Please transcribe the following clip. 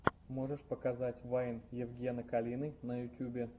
можешь показать вайн евгена калины на ютюбе